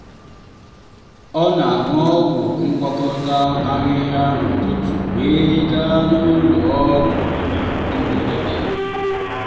ọ na-aṅụ ọgwụ ngwakọta ahịhịa n'ụtụtụ wee gaa n'ụlọ ọgwụ na mberede.